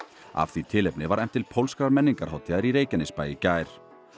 af því tilefni var efnt til pólskrar menningarhátíðar í Reykjanesbæ í gær